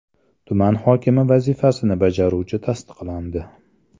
Tuman hokimi vazifasini bajaruvchi tasdiqlandi.